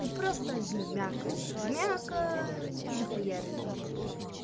ты просто жмякай жмякай и захуярь эту кнопку